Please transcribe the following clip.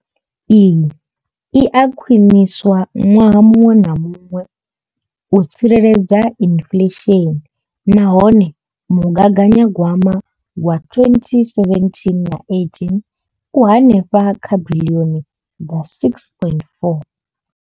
Iyi i a khwiniswa ṅwaha muṅwe na muṅwe u tsireledza inflesheni nahone mugaganya gwama wa 2017 na 18 u henefha kha biḽioni dza R6.4.